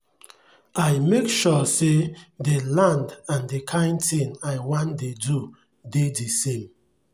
i make sure say dey land and the kain thing i wan dey do dey the same